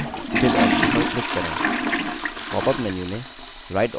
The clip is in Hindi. popअप menu में right option पर click करें